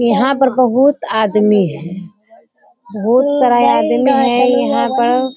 यहाँ पर बहुत आदमी हैं बहुत सारा ये आदमी हैं यहाँ पर।